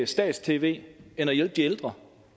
stats tv end at hjælpe de ældre